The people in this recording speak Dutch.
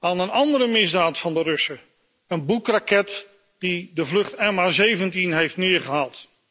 aan een andere misdaad van de Russen een Boek raket die de vlucht MH17 heeft neergehaald.